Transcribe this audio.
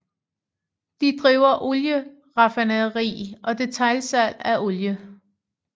De driver olieraffinaderi og detailsalg af olie